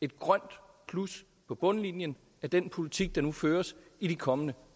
et grønt plus på bundlinjen af den politik der nu føres i de kommende